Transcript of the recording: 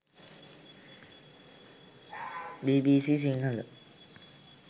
bbc sinhala